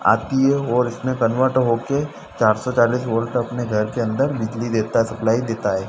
आती है और इसमें कन्वर्ट हो के चार सौ चालीस वोल्ट अपने घर के अंदर बिजली देता सप्लाई देता है।